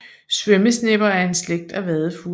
Svømmesnepper er en slægt af vadefugle